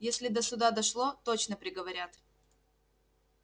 если до суда дошло точно приговорят